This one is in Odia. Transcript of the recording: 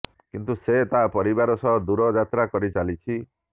କିନ୍ତୁ ସେ ତା ପରିବାର ସହ ଦୂର ଯାତ୍ରା କରିଚାଲିଛି